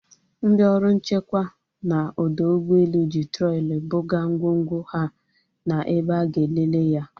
Ndị ọrụ nchekwa na ọdọ ụgbọelu ji trọli buga ngwongwo ha na ebe a ga-elele ya